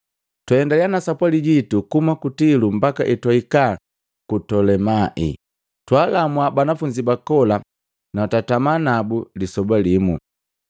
Twaendaliya na sapwali jitu kuhuma ku Tilo mbaka etwahika ku Tolemai, twaalamua banafunzi ba kola na twatama nabu lisoba limu.